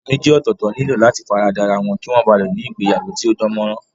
Èèyàn méjì ọ̀tọ̀ọ̀tọ̀ nílò láti fara da ra wọn kí wọ́n ba lè ní ìgbéyàwó tó dán mọ́ rán